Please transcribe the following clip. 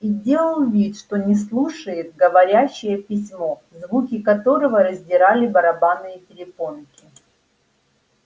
и делал вид что не слушает говорящее письмо звуки которого раздирали барабанные перепонки